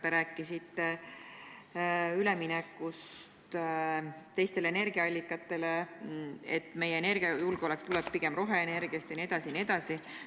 Te rääkisite üleminekust teistele energiaallikatele, sellest, et meie energiajulgeolek tuleb pigem roheenergiast jne.